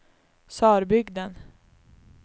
Sörbygden